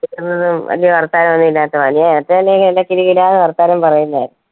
ആഹ് വലിയ വർത്താനം ഒന്നും ഇല്ലാത്തെ അല്ലെങ്കിൽ നല്ല കിലുകിലാന്ന് വർത്താനം പറയുന്നയാ.